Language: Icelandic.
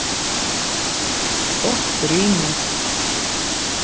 Gott rými